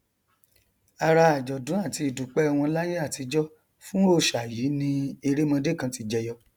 ara àjọdún àti ìdúpẹ wọn láyé àtijọ fún òòṣà yìí ni erémọdé kan ti jẹyọ